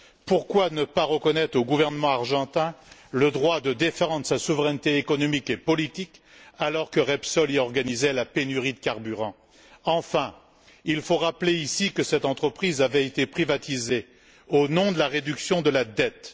Pourquoi ne pas reconnaître au gouvernement argentin le droit de défendre sa souveraineté économique et politique alors que Repsol contribuait à la pénurie de carburant dans ce pays? Enfin, il faut rappeler ici que cette entreprise avait été privatisée au nom de la réduction de la dette.